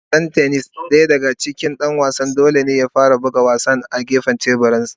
A wasan tennis .Daya daga cikin Dan wasan dole ne ya fara buga kwallon a gefensa na teburin.